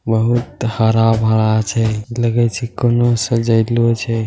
बहुत हरा-भरा छै लगाई छै कउनो सजाइले छै |